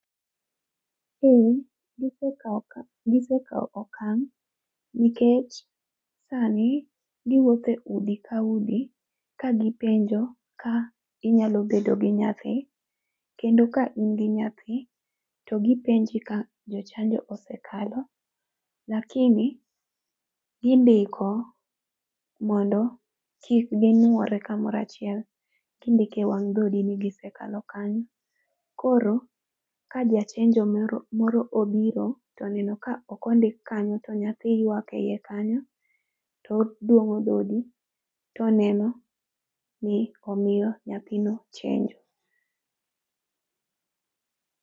Ee. Gisekawo okang' nikech sani giwuotho e udi ka udi ka gipenjo ka inyalo bedo gi nyathi kendo ka in gi nyathi to gipenji ka jochanjo osekalo. Lakini indiko mondo kik ginwore kamoro achiel, kindiko e wang' dhodi ni gisekalo kanyo. Koro ka jachenjo moro obiro to oneno ka ok ondik kanyo, to nyathi ywak ei kanyo, to odwong'o dhodi to oneno ni omiyo nyathino chenjo.